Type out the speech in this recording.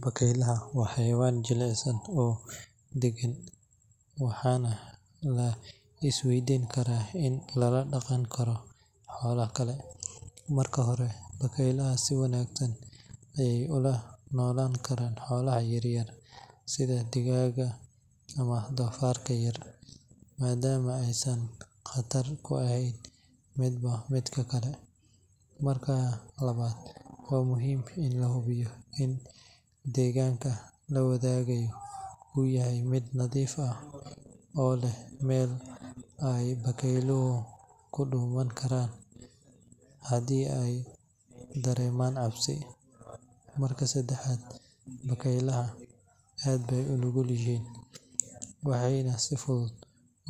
Bakaylaha waa xayawaan jilicsan oo degan, waxaana la isweydiin karaa in lala dhaqan karo xoolaha kale. Marka hore, bakaylaha si wanaagsan ayay ula noolaan karaan xoolaha yar yar sida digaagga ama doofaarka yar, maadaama aysan khatar ku ahayn midba midka kale. Marka labaad, waa muhiim in la hubiyo in deegaanka la wadaagayo uu yahay mid nadiif ah oo leh meel ay bakayluhu ku dhuuman karaan haddii ay dareemaan cabsi. Marka saddexaad, bakaylaha aad bay u nugul yihiin, waxayna si fudud